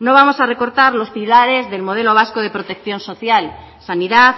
no vamos a recortar los pilares del modelo vasco de protección social sanidad